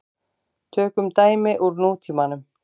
Tökum dæmi úr nútímanum.